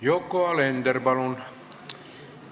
Yoko Alender, palun!